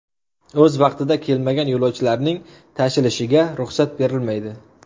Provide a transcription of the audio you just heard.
O‘z vaqtida kelmagan yo‘lovchilarning tashilishiga ruxsat berilmaydi.